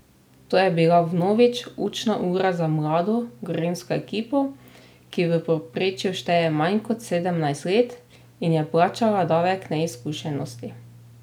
To je bila vnovič učna ura za mlado Gorenjsko ekipo, ki v povprečju šteje manj kot sedemnajst let in je plačala davek neizkušenosti.